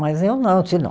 Mas eu não,